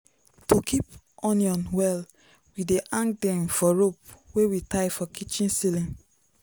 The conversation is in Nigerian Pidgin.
to keep onion well we dey hang dem for rope wey we tie for kitchen ceiling.